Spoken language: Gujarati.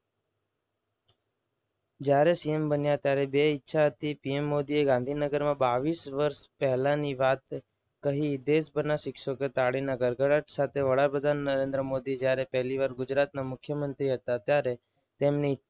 જ્યારે સીએમ બને ત્યારે બે ઈચ્છા હતી. PM મોદીએ ગાંધીનગરમાં બાવીસ વર્ષ પહેલાંની વાત કહી દેશભરના શિક્ષકો એ તાળીના ગડગડા સાથે વડાપ્રધાન નરેન્દ્ર મોદી જ્યારે પહેલીવાર ગુજરાતના મુખ્યમંત્રી હતા. ત્યારે તેમની